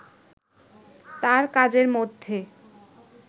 তার কাজের মধ্যে